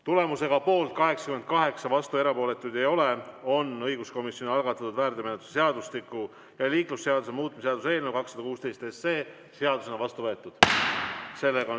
Tulemusega poolt 88, vastuolijaid ja erapooletuid ei ole, on õiguskomisjoni algatatud väärteomenetluse seadustiku ja liiklusseaduse muutmise seaduse eelnõu 216 seadusena vastu võetud.